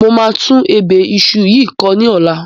Mo máa tún ebè iṣu yìí kọ ní ọ̀la.